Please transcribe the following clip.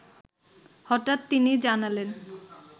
হঠাৎ তিনি জানালেন